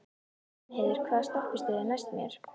Reynheiður, hvaða stoppistöð er næst mér?